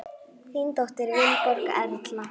Þín dóttir, Vilborg Erla.